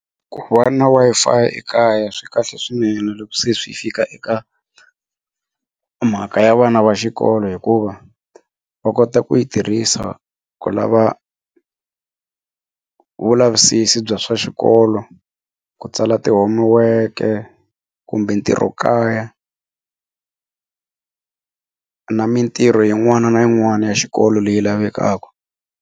Ku va na Wi-Fi ekaya swi kahle swinene loko se swi fika eka mhaka ya vana va xikolo hikuva va kota ku yi tirhisa ku lava vulavisisi bya swa xikolo ku tsala ti-homework-e kumbe ntirho kaya na mitirho yin'wana na yin'wana ya xikolo leyi lavekaka.